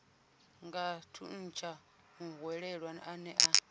nga thuntsha muhwelelwa ane a